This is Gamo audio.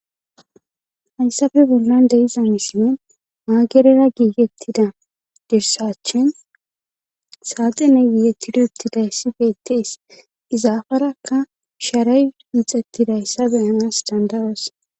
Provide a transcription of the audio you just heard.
hayssafe bollan deiza misimen maagerera giigettida dirsachin saate ne giiettiduttiday si beettees izaafarakka sharay hixettidayssa beyanas dandaros